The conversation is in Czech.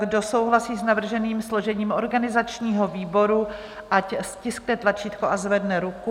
Kdo souhlasí s navrženým složením organizačního výboru, ať stiskne tlačítko a zvedne ruku.